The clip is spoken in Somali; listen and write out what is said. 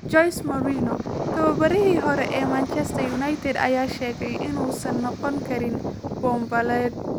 Jose Mourinho: Tababarihii hore ee Manchester United ayaa sheegay inuusan noqon karin boombaleed